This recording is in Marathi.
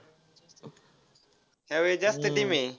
ह्यावेळी जास्त teams आहे.